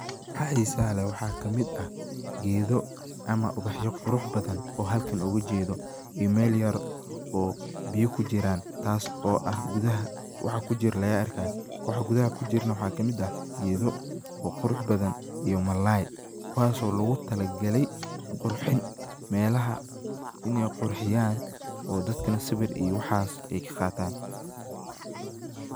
Waxaa xisaha leh waxaa kamid ah, gedoo ama ubaxyo qurux badan oo halkan ugu jedo oo mel yar oo biyo kujiraan taas oo ah gudaha waxa kujiraa laga arkayo, waxaa gudaha kujirana waxaa kamid ah gedoo oo qurux badan iyo malalaay kuwaso logu talagalaay qurxin, melaha iney qurxiyaan oo dadkana sawir iyo waxas ay kaqadhan.